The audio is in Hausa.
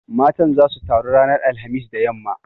Matan zasu taru ranar alhamis da yamma.